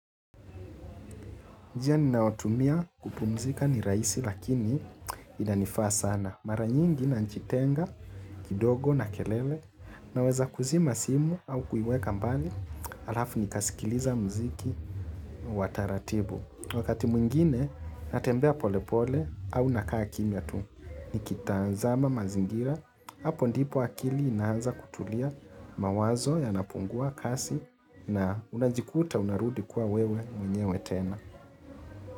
Njia ninayotumia kupumzika ni rahisi lakini inanifaa sana. Mara nyingi na najitenga kidogo na kelele na weza kuzima simu au kuiweka mbali alafu nikasikiliza muziki wataratibu. Wakati mwingine natembea polepole au nakaa kimia tu. Nikita zama mazingira hapo ndipo akili inaanza kutulia mawazo ya napungua kasi na unajikuta unarudi kuwa wewe mwenyewetena.